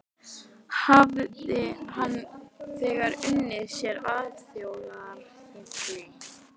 Hafði hann þegar unnið sér alþjóðarhylli.